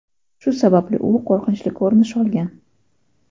Shu sababli u qo‘rqinchli ko‘rinish olgan.